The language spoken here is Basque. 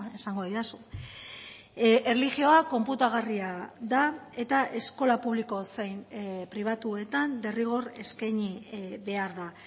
esango didazu erlijioa konputagarria da eta eskola publiko zein pribatuetan derrigor eskaini behar da